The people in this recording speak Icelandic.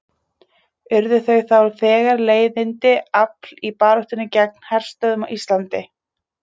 Urðu þau þá þegar leiðandi afl í baráttunni gegn herstöðvum á Íslandi.